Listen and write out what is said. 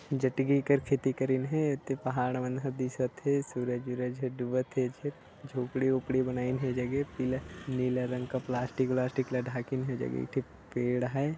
जतगिन कर खेती करिन हैं ओती पहाड़ मन दिखा थे सूरज उरज ह डूबा थे झोपड़ी ऑपड़ी बनाइन हे ए जगह पीला नीला रंग का प्लास्टिक वलास्टिक का ढाकेन हैं उहि जगन का पेड़ हैं।